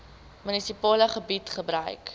munisipale gebied gebruik